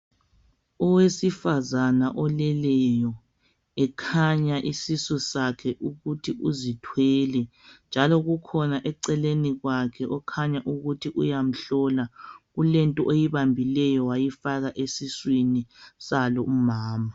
owesifazana oleleyo ekhanya isisu sakhe ukuthi uzithwele njalo kukhona eceleni kwakhe okukhanya ukuthi uyamhlola kulento oyibambileyo wayifaka esiswini salo umama